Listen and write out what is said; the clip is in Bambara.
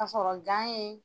ka sɔrɔ ye.